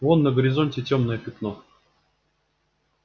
вон на горизонте тёмное пятно